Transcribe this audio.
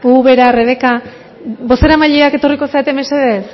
ubera rebeka bozeramaileak etorriko zarete mesedez